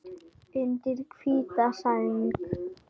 Undir hvíta sæng.